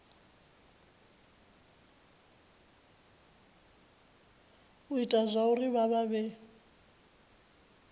ita zwauri vha vha vhe